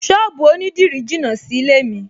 Ṣọ́ọ̀bù onídìrí jìnà sílé-è mi